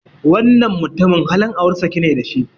Wannan mutumin halin aure sake ne da shi.